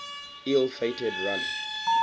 ill fated run